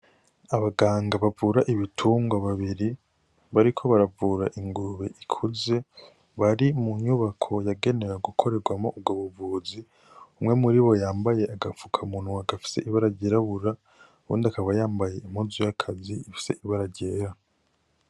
Abaganga bavura ibitungwa babiri bariko baravura ingurube ikuze. Bari mu nyubako yagenewe gukorerwamwo ubwo buvuzi. Umwe muribo yambaye agafukamunwa gafise ibara ryirabura, uwundi akaba yambaye impuzu y'akazi ifise ibara ryera.